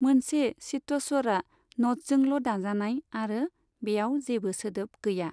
मोनसे चित्तस्वरआ न'टसजोंल' दाजानाय आरो बेयाब जेबो सोदोब गैया।